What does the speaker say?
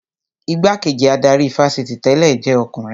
Igbá-kejì adarí ifásitì tẹ̀lẹ́ jẹ́ ọkùnrin